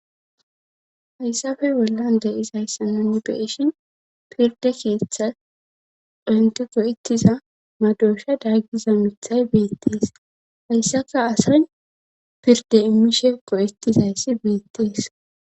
hayssafe bollan de'isayssa nu be'ishin pirde keeththa ontope oykiza madoshada giza mithay beettees hayssaka asay pirde immishe go'ettizayssi beettees